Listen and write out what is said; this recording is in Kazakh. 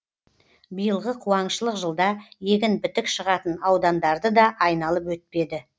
биылғы қуаңшылық жылда егін бітік шығатын аудандарды да айналып өтпеді